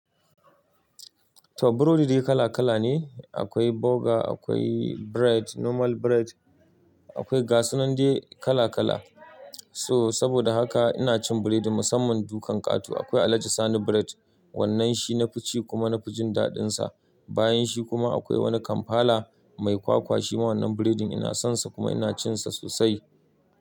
To burodi dai kala kala ne, akwai burger akwai bread normal bread akwai gasunan dai kala kala so saboda haka ina cin burodi musamman dukan kato akwai alaji sani bread wannan shi na fice kuma na fi jin daɗinsa bayan shi kuma akwai wani kampala mai kwakwa shi ma wannan burodin ina son sa kuma ina cin sa sosai.